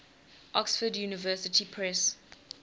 oxford university press